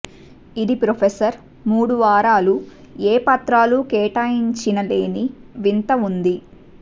ఇది ప్రొఫెసర్ మూడు వారాలు ఏ పత్రాలు కేటాయించిన లేని వింత ఉంది